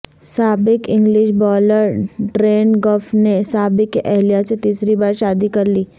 سابق English bowler Darren Gough نے سابق اہلیہ سے تیسری بارشادی کر لی